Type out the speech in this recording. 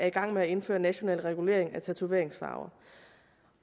i gang med at indføre en national regulering af tatoveringsfarver